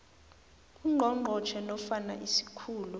ungqongqotjhe nofana isikhulu